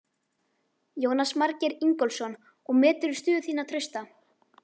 Jónas Margeir Ingólfsson: Og meturðu stöðu þína trausta?